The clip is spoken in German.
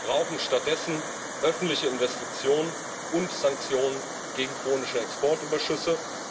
Wir brauchen stattdessen öffentliche Investitionen und Sanktionen gegen chronische Exportüberschüsse.